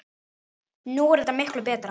Nú er þetta miklu betra.